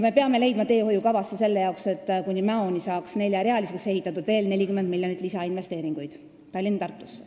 Me peame leidma teehoiukavasse selle jaoks, et Tallinna–Tartu maantee saaks kuni Mäoni neljarealiseks ehitatud, veel 40 miljonit lisainvesteeringuid.